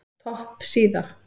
Topp síða